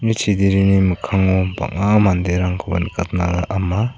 chiderini mikkango bang·a manderangkoba nikatna am·a.